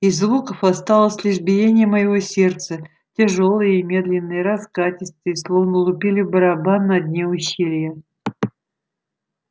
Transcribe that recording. из звуков осталось лишь биение моего сердца тяжёлое и медленное раскатистое словно лупили в барабан на дне ущелья